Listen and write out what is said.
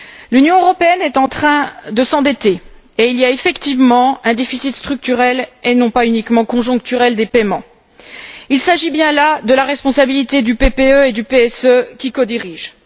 L'Union européenne est en train de s'endetter et il y a effectivement un déficit structurel et non pas uniquement conjoncturel des paiements. Il s'agit bien là de la responsabilité du PPE et du PSE qui codirigent.